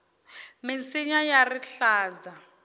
minsinya ya rihlaza